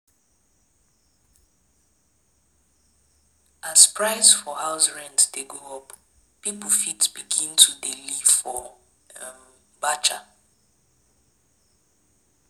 As price for house rent de go up pipo fit begin to de live for um batcha